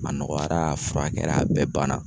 A nɔgɔyara a furakɛra a bɛɛ banna.